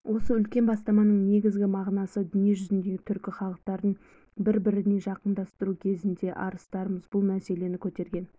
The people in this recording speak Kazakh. осы үлкен бастаманың негізгі мағынасы дүниежүзіндегі түркі халықтарын бір біріне жақындастыру кезінде арыстарымыз бұл мәселені көтерген